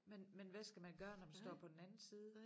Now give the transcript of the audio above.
Men men hvad skal man gøre når man står på den anden side